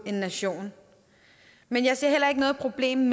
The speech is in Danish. en nation men jeg ser heller ikke noget problem